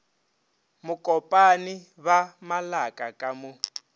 mokopane ba malaka ka mo